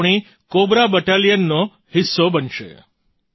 તે આપણી કૉબ્રા બટાલિયનનો હિસ્સો બનશે